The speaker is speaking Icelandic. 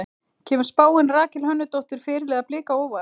Kemur spáin Rakel Hönnudóttur, fyrirliða Blika á óvart?